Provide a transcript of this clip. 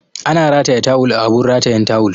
Ana rataya tawul a abun ratayan tawul